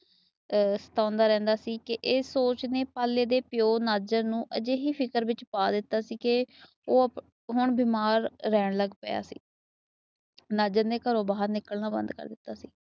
ਹੁੰਦਾ ਰਹਿੰਦਾ ਸੀ। ਤੇ ਇਸ ਸੋਚ ਨੇ ਪਾਲੇ ਦੇ ਪਿਓ ਨਜ਼ਰ ਨੂੰ ਅਜੇਹੀ ਫਿਕਰ ਵਿੱਚ ਪਾ ਦਿੱਤਾ ਸੀ ਕੇ। ਉਹ ਹੁਣ ਬਿਮਾਰ ਰਹਿਣ ਲੱਗ ਪਿਆ ਸੀ। ਨਜ਼ਰ ਨੇ ਘਰੋਂ ਬਾਹਰ ਨਿਕਲਣਾ ਬੰਦ ਕਰ ਦਿੱਤਾ ਸੀ।